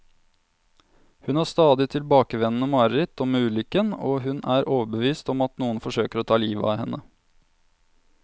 Hun har stadig tilbakevendende mareritt om ulykken, og hun er overbevist om at noen forsøker å ta livet av henne.